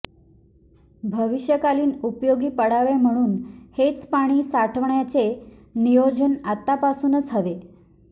भविष्यकालीन उपयोगी पडावे म्हणून हेच पाणी साठवण्याचे नियोजन आतापासूनच हवे